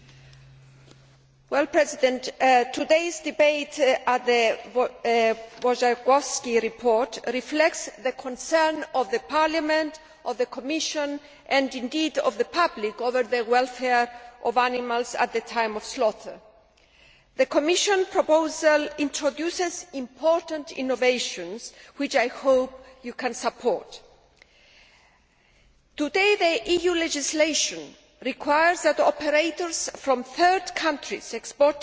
Mr President, today's debate on the Wojciechowski report reflects the concerns of Parliament, the Commission and indeed of the public over the welfare of animals at the time of slaughter. The Commission proposal introduces important innovations which I hope you can support. Today, EU legislation requires that operators from third countries exporting to the EU